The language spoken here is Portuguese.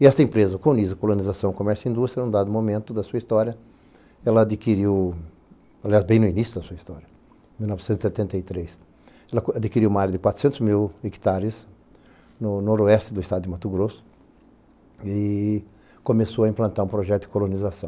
E esta empresa, o Colunizio Colonização e Comércio e Indústria, num dado momento da sua história, ela adquiriu, aliás, bem no início da sua história, em mil novecentos e setenta e três, ela adquiriu uma área de quatrocentos mil hectares no noroeste do estado de Mato Grosso e começou a implantar um projeto de colonização.